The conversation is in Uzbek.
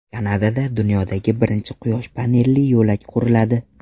Kanadada dunyodagi birinchi quyosh panelli yo‘lak quriladi.